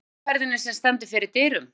Ameríkuferðinni, sem stendur fyrir dyrum.